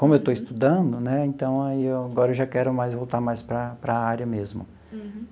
Como eu estou estudando, né, então aí eu agora eu já quero mais voltar mais para para a área mesmo.